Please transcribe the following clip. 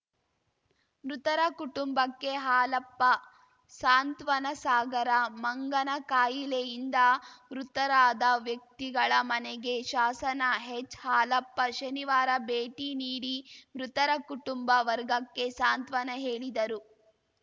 ಮೃತರ ಕುಟುಂಬಕ್ಕೆ ಹಾಲಪ್ಪ ಸಾಂತ್ವನ ಸಾಗರ ಮಂಗನಕಾಯಿಲೆಯಿಂದ ವೃತರಾದ ವ್ಯಕ್ತಿಗಳ ಮನೆಗೆ ಶಾಸನ ಹೆಚ್‌ಹಾಲಪ್ಪ ಶನಿವಾರ ಭೇಟಿ ನೀಡಿ ಮೃತರ ಕುಟುಂಬ ವರ್ಗಕ್ಕೆ ಸಾಂತ್ವನ ಹೇಳಿದರು